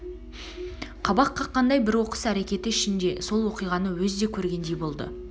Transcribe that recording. қабақ қаққандай бір оқыс әрекеті ішінде сол уақиғаны өз де көргендей болды